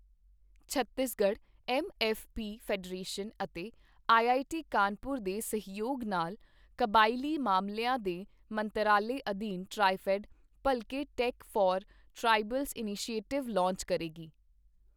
Chhattisgarh MFP federation ਅਤੇ IIT Kanpur ਦੇ ਸਹਿਯੋਗ ਨਾਲ ਕਬਾਇਲੀ ਮਾਮਲਿਆਂ ਦੇ ਮੰਤਰਾਲੇ ਅਧੀਨ ਟ੍ਰਾਇਫੈੱਡ, ਭਲਕੇ tech for tribals initiative launch ਕਰੇਗੀ।